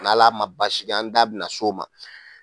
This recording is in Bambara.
N'Ala ma baasi kɛ an da bɛna se o ma